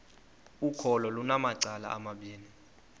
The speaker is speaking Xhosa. ukholo lunamacala amabini